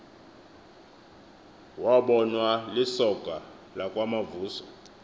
wabonwa lisoka lakwamavuso